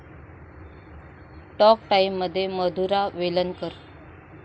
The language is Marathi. टाॅक टाइममध्ये मधुरा वेलणकर